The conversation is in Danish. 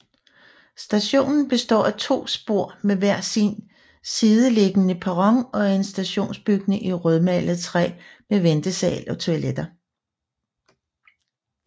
Stationen Består af to spor med hver sin sideliggende perron og en stationsbygning i rødmalet træ med ventesal og toiletter